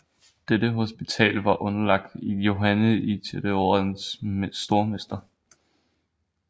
Dette hospital var underlagt Johanniterordenens stormester